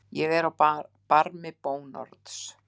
Ég er á barmi bónorðs.